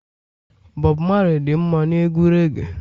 Bob Marley dị mma na egwu reage